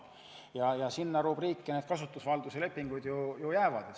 Sellesse rubriiki jäävad ka need kasutusvalduse lepingud.